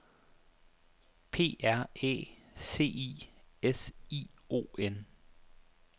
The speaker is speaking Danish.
P R Æ C I S I O N